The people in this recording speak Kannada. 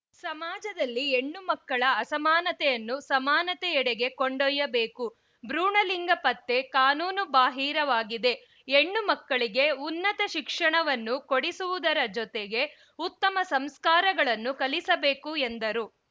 ಸಮಾಜದಲ್ಲಿನ ಹೆಣ್ಣು ಮಕ್ಕಳ ಅಸಮಾನತೆಯನ್ನು ಸಮಾನತೆಯೆಡೆಗೆ ಕೊಂಡೊಯ್ಯಬೇಕು ಭ್ರೂಣಲಿಂಗ ಪತ್ತೆ ಕಾನೂನುಬಾಹಿರವಾಗಿದೆ ಹೆಣ್ಣು ಮಕ್ಕಳಿಗೆ ಉನ್ನತ ಶಿಕ್ಷಣವನ್ನು ಕೊಡಿಸುವುದರ ಜೊತೆಗೆ ಉತ್ತಮ ಸಂಸ್ಕಾರಗಳನ್ನು ಕಲಿಸಬೇಕು ಎಂದರು